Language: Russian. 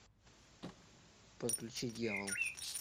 подключи дьявол